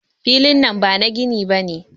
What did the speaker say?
Filin nan bana gini bane.